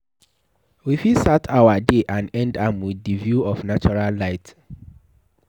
We fit start our day and end am with di view of natural light